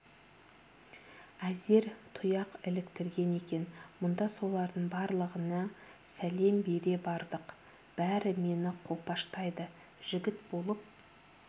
әзер тұяқ іліктірген екен мұнда солардың барлығына сәлем бере бардық бәрі мені қолпаштайды жігіт болып